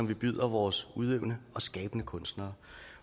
vi byder vores udøvende og skabende kunstnere